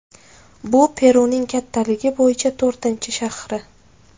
Bu Peruning kattaligi bo‘yicha to‘rtinchi shahri.